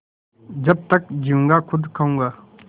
जब तक जीऊँगा खुद खाऊँगा